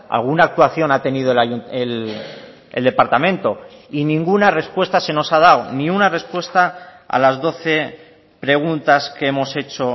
alguna actuación ha tenido el departamento y ninguna respuesta se nos ha dado ni una respuesta a las doce preguntas que hemos hecho